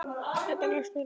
Þetta leggst vel í mig.